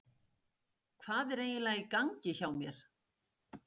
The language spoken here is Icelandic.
Hvað er eiginlega í gangi hjá mér?